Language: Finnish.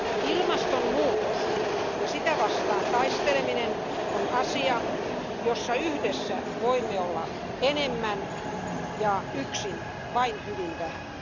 Ilmastonmuutos ja sitä vastaan taisteleminen on asia, jossa yhdessä voimme olla enemmän ja yksin vain hyvin vähän.